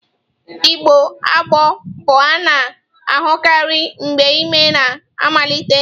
Ịgbọ agbọ bụ a na-ahụkarị mgbe ime na amalite.